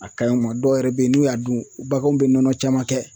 A kanyi ŋɔ dɔ yɛrɛ be ye n'u y'a dun baganw be nɔnɔ caman kɛ